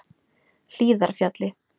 Hlíðarfjalli